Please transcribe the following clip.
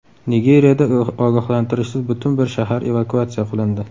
Nigeriyada ogohlantirishsiz butun bir shahar evakuatsiya qilindi.